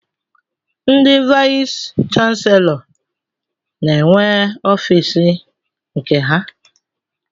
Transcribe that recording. Ndị vayis chansilọ n'enwe ọfiisi nke ha.